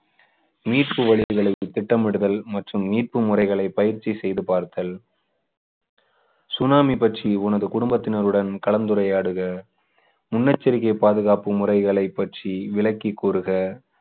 மீட்பு வழிகளை திட்டமிடுதல் மற்றும் மீட்பு முறைகளை பயிற்சி செய்து பார்த்தல் சுனாமி பற்றி உனது குடும்பத்தினருடன் கலந்துரையாடுக முன்னெச்சரிக்கை பாதுகாப்பு முறைகளை பற்றி விளக்கி கூறுக